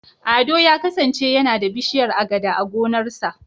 Ado ya kasance yana da bishiyar Agada a gonarsa.